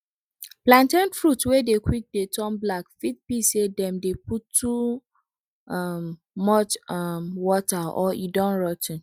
plantain fruit wey dey quick dey turn black fit be say dem dey put too um much um water or e don rot ten